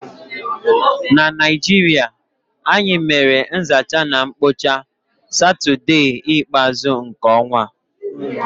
N'Naịjirịa, anyị mere nzacha na mkpocha satọdee ikpeazu nke ọnwa